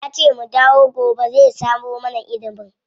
Yace mu dawo gobe zai samo mana inibin.